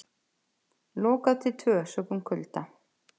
Lokað til tvö sökum kulda